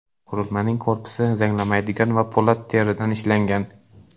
Qurilmaning korpusi zanglamaydigan po‘lat va teridan ishlangan.